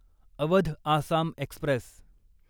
Awadh Assam Express